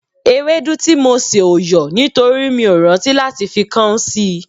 Ewédú tí mo sè ò yọ̀ nítorí mi ò rántí fi káún sí l